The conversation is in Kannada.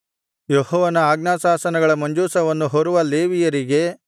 ಯೆಹೋವನ ಆಜ್ಞಾಶಾಸನಗಳ ಮಂಜೂಷವನ್ನು ಹೊರುವ ಲೇವಿಯರಿಗೆ